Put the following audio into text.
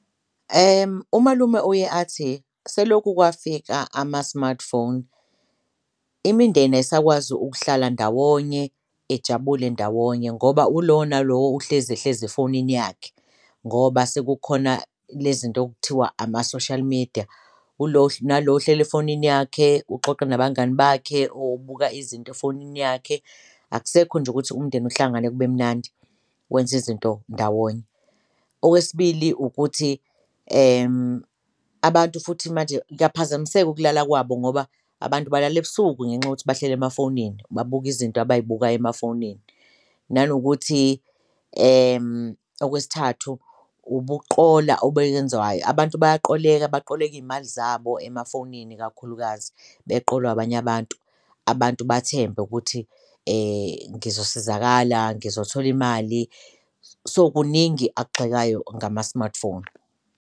Umalume uye athi selokhu kwafika ama-smartphone imindeni ayisakwazi ukuhlala ndawonye ijabule ndawonye ngoba ulowo nalowo uhlezi ehlezi efonini yakhe ngoba sekukhona le zinto okuthiwa ama-social media, ulo nalo uhleli efonini yakhe uxoxa nabangani bakhe, ubuka izinto efonini yakhe, akusekho nje ukuthi umndeni uhlangane kube mnandi wenze izinto ndawonye. Okwesibili, ukuthi abantu futhi manje kuyaphazamiseka ukulala kwabo ngoba abantu balala ebusuku ngenxa yokuthi bahleli emafonini, babuka izinto abayibukayo emafonini. Nanokuthi okwesithathu, ubukuqola abantu bayaqoleka baqoleke iy'mali zabo emafowunini ikakhulukazi beqolwa abanye abantu, abantu bathembe ukuthi ngizosizakala, ngizothola imali so, kuningi akugxekayo ngama-smartphone.